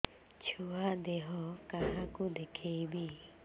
ଛୁଆ ଦେହ କାହାକୁ ଦେଖେଇବି